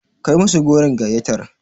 Kai musu goron gayyatar.